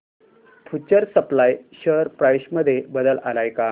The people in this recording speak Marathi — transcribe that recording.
फ्यूचर सप्लाय शेअर प्राइस मध्ये बदल आलाय का